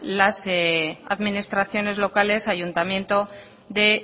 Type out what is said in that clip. las administraciones locales ayuntamiento de